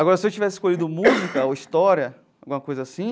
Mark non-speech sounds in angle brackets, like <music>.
Agora, se eu tivesse escolhido música <coughs> ou história, alguma coisa assim,